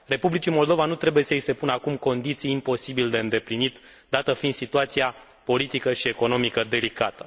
Republicii Moldova nu trebuie să i se pună acum condiții imposibil de îndeplinit, dată fiind situația politică și economică delicată.